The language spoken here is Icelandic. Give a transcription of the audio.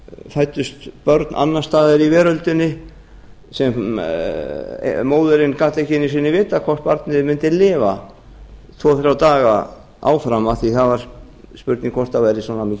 fæddust börn annars staðar í veröldinni sem móðirin gat ekki einu sinni vitað hvort barnið mundi lifa tvö þrjá daga áfram af því að það var spurning hvort það væri svona